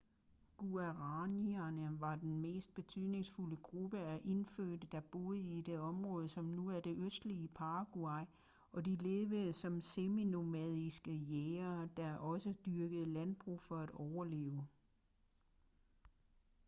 guaraníerne var den mest betydningsfulde gruppe af indfødte der boede i det område som nu er det østlige paraguay og de levede som semi-nomadiske jægere der også dyrkede landbrug for at overleve